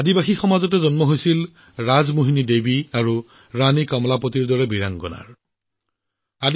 জনজাতি সমাজৰ পৰাই দেশে ৰাজমোহিনী দেৱী আৰু ৰাণী কমলাপতিৰ দৰে বীৰাংগনা লাভ কৰিছিল